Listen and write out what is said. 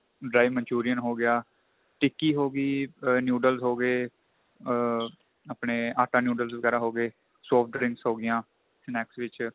dry Manchurian ਹੋ ਗਿਆ ਟਿੱਕੀ ਹੋ ਗਈ ਆ noodles ਹੋ ਗਏ ਆਪਣੇ ਆਟਾ noodles ਵਗੈਰਾ ਹੋ ਗਏ soft drinks ਹੋ ਗਈਆਂ snacks ਵਿੱਚ